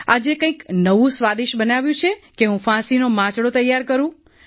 આજે કંઈક નવું સ્વાદિષ્ટ બન્યું છે કે હું ફાંસીનો માંચડો તૈયાર કરું